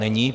Není?